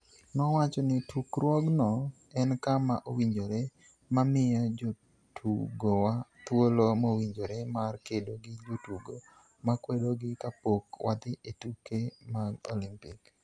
Nowacho ni "Tukruogno en kama owinjore ma miyo jotugowa thuolo mowinjore mar kedo gi jotugo ma kwedogi ka pok wadhi e tuke mag Olimpik".